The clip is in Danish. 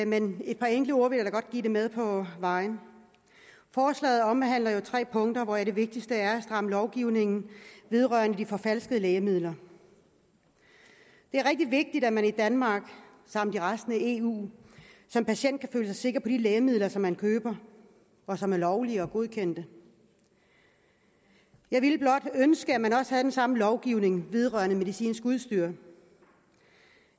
men et par enkelte ord vil jeg da godt give det med på vejen forslaget omhandler tre punkter hvoraf det vigtigste er at stramme lovgivningen vedrørende de forfalskede lægemidler det er rigtig vigtigt at man i danmark samt i resten af eu som patient kan føle sig sikker på de lægemidler som man køber og som er lovlige og godkendte jeg ville blot ønske at man også havde den samme lovgivning vedrørende medicinsk udstyr